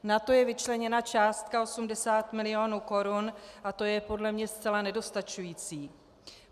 Na to je vyčleněna částka 80 mil. korun a to je podle mě zcela nedostačující.